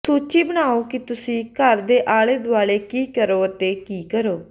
ਸੂਚੀ ਬਣਾਓ ਕਿ ਤੁਸੀਂ ਘਰ ਦੇ ਆਲੇ ਦੁਆਲੇ ਕੀ ਕਰੋ ਅਤੇ ਕੀ ਕਰੋ